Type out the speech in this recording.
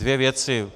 Dvě věci.